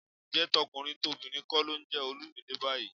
Ǹjẹ́ tọkùnrin tobìnrin kọ́ ló ń jẹ Olumide báyìí?